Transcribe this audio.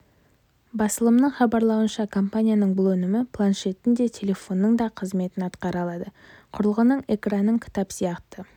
басылымның хабарлауынша компанияның бұл өнімі планшеттің де телефонның да қызметін атқара алады құрылғының экранын кітап сияқты